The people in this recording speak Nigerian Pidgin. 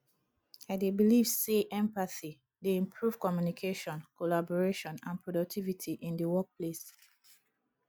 i dey believe say empathy dey improve communication collaboration and productivity in di workplace